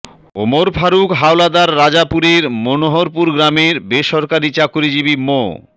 ওমর ফারুক হাওলাদার রাজাপুরের মনোহরপুর গ্রামের বেসরকারি চাকরিজীবী মো